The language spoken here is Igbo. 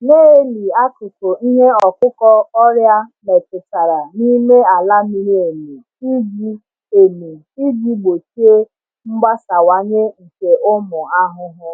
Na-eli akụkụ ihe ọkụkụ ọrịa metụtara n’ime ala miri emi iji emi iji gbochie mgbasawanye nke ụmụ ahụhụ.